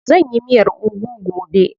Zan yi miyar ugu gobe.